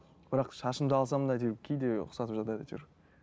бірақ шашымды алсам да кейде ұқсатып жатады әйтеуір